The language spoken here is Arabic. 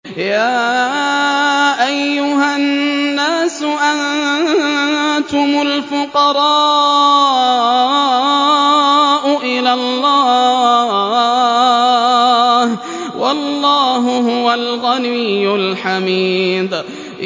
۞ يَا أَيُّهَا النَّاسُ أَنتُمُ الْفُقَرَاءُ إِلَى اللَّهِ ۖ وَاللَّهُ هُوَ الْغَنِيُّ الْحَمِيدُ